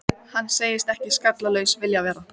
Hann segist ekki skallalaus vilja vera.